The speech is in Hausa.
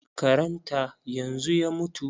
Karan ta yanzu ya mutu.